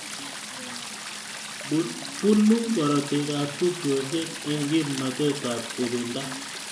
Bunu korotikab tupchosyek eng kimnatetab ibinda